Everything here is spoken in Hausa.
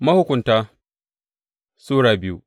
Mahukunta Sura biyu